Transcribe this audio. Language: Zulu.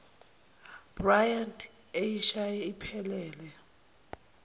bryant eyishaye iphelele